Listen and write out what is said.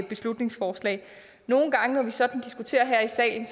beslutningsforslag nogle gange når vi sådan diskuterer her i salen